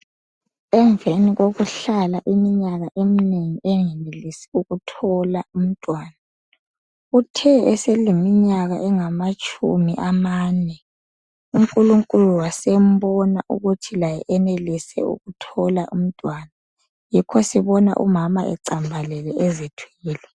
Emveni kokuhlala iminyaka eminengi engenelisi ukuthola umntwana, uthe eseleminyaka angamatshumi amane, unkulunkulu wasembona ukuthi laye enelise ukuthola umntwana yikho sebona umama ecambalele ezithwele.